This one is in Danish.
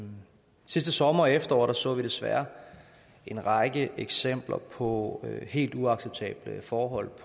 sidste sommer og efterår så vi desværre en række eksempler på helt uacceptable forhold